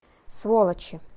сволочи